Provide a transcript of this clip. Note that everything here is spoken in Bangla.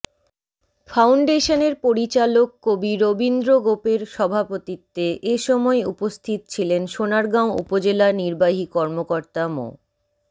ফাউন্ডেশনের পরিচালক কবি রবীন্দ্র গোপের সভাপতিত্বে এসময় উপস্থিত ছিলেন সোনারগাঁও উপজেলা নির্বাহী কর্মকর্তা মো